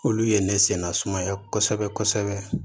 Olu ye ne sennasumaya kosɛbɛ kosɛbɛ